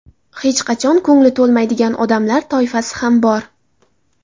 Hech qachon ko‘ngli to‘lmaydigan odamlar toifasi ham bor.